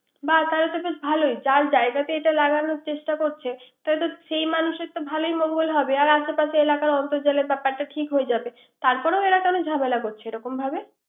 বাহ তাহলে বেশ ভালোই যার জায়গাতে এটা লাগানোর চেষ্টা করছে। তাহলে তো সেই মানুষের তো বেশ ভালোই মঙ্গল হবে। আশে পাশের এলাকার অর্ন্তজানের ব্যাপারটা ঠিক হয়ে যাবে। তারপরও এরা কোন জমেলা করছে এরকমভাবে